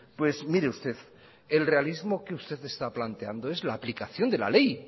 pues mire usted el realismo que usted está planteando es la aplicación de la ley